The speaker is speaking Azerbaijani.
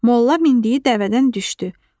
Molla mindiyi dəvədən düşdü.